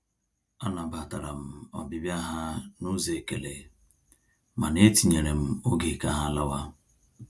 Anabatara m ọbịbịa ha n’ụzọ ekele, mana etinyere m oge ka ha lawa.